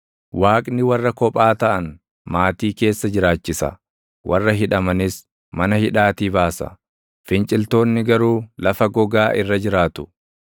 Waaqni warra kophaa taʼan maatii keessa jiraachisa; warra hidhamanis mana hidhaatii baasa; finciltoonni garuu lafa gogaa irra jiraatu.